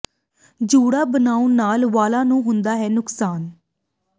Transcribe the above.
ਜੂੜਾ ਬਣਾਉਣ ਨਾਲ ਵਾਲਾਂ ਨੂੰ ਹੁੰਦੇ ਹਨ ਇਹ ਨੁਕਸਾਨ